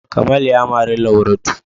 Kamal ya mari Lauratu.